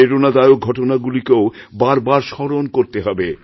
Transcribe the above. প্রেরণাদায়ক ঘটনাগুলিকেও বার বার স্মরণ করতেহবে